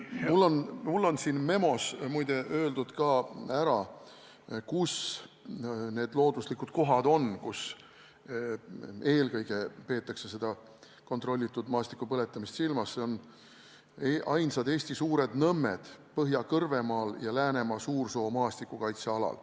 Mul on siin memos muide öeldud, kus need looduslikud kohad on, kus eelkõige seda kontrollitud maastikupõletamist vajalikuks peetakse: ainsad Eesti suured nõmmed Põhja-Kõrvemaal ja Läänemaa Suursoo maastikukaitsealal.